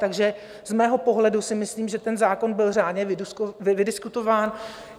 Takže z mého pohledu si myslím, že ten zákon byl řádně vydiskutovaný.